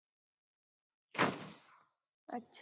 अच्छा